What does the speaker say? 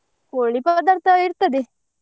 ಕೋಳಿ ಪದಾರ್ಥ ಇರ್ತದೆ.